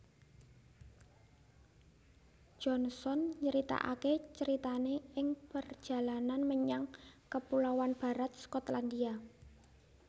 Johnson nyritakake caritane ing Perjalanan menyang Kepulauan Barat Skotlandia